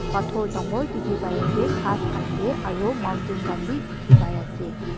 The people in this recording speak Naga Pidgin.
pathor dangor dekhi pai asa ghas asa aru mountain khan vi dekhi pai ase.